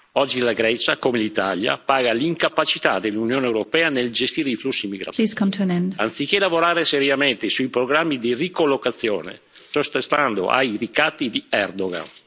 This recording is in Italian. Oggi la Grecia, come l'Italia, paga l'incapacità dell'Unione europea nel gestire i flussi migratori, anziché lavorare seriamente sui programmi di ricollocazione, sottostando ai ricatti di Erdogan.